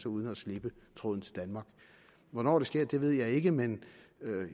uden at slippe tråden til danmark hvornår det sker ved jeg ikke men